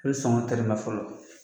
A bɛ sɔngɔ tɛrɛmɛ fɔlɔ